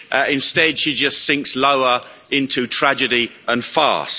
Instead, she just sinks lower into tragedy and farce.